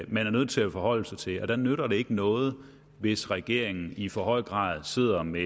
man er nødt til at forholde sig til og der nytter det ikke noget hvis regeringen i for høj grad sidder med